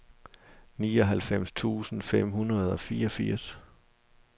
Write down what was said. nioghalvfems tusind fem hundrede og fireogfirs